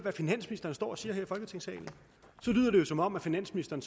hvad finansministeren står og siger her i folketingssalen lyder som om finansministeren